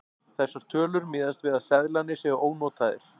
Þessar tölur miðast við að seðlarnir séu ónotaðir.